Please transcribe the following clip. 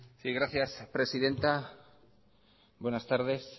sí gracias presidenta buenas tardes